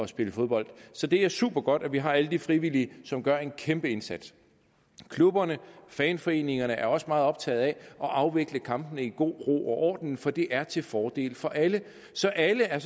spille fodbold så det er supergodt at vi har alle de frivillige som gør en kæmpe indsats klubberne fanforeningerne er også meget optaget af at afvikle kampene i god ro og orden for det er til fordel for alle så alle er